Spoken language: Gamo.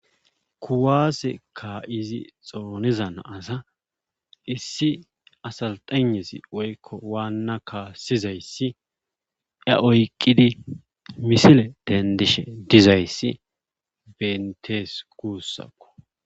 kuwaase ka'izi xooniza naasa issi asaltanesi oykko waanna kaassizayssi a oyqqidi misile dendishe dizayssi bentees gussakko